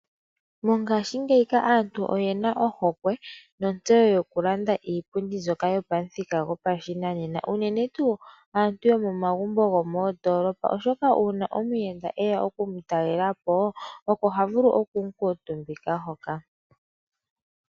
Mongashingeyi aantu oyena ohokwe notseyo yokulanda iipundi mbyoka yopamuthika gopashinanena. Uunene tuu aantu yomomagumbo gomoondolopa, oshoka uuna omuyenda eya oku mutalelapo oko ha vulu oku mukuutumbika hoka.